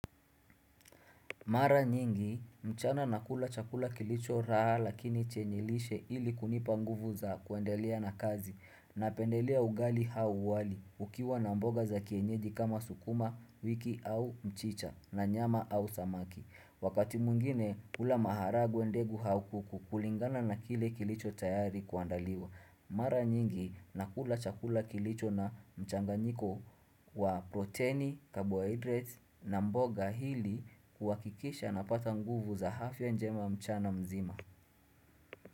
Mara nyingi mchana nakula chakula kilicho raha lakini chenye lishe ili kunipa nguvu za kuendelea na kazi napendelea ugali au wali ukiwa na mboga za kienyeji kama sukuma wiki au mchicha na nyama au samaki. Wakati mwingine hula maharagwe ndegu au kuku kulingana na kile kilicho tayari kuandaliwa. Mara nyingi nakula chakula kilicho na mchanganyiko wa proteini, carbohydrates na mboga ili kuhakikisha napata nguvu za afya njema mchana mzima.